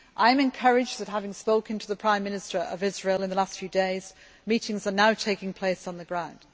lie. I am encouraged that, having spoken to the Prime Minister of Israel in the last few days, meetings are now taking place on the ground.